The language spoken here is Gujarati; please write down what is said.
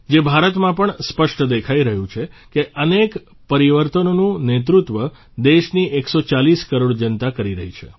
જે ભારતમાં પણ સ્પષ્ટ દેખાઇ રહ્યું છે કે અનેક પરિવર્તનોનું નેતૃત્વ દેશની 140 કરોડ જનતા કરી રહી છે